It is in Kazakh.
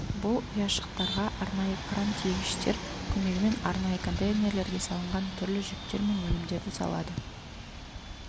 бұл ұяшықтарға арнайы кран-тиегіштер көмегімен арнайы контейнерлерге салынған түрлі жүктер мен өнімдерді салады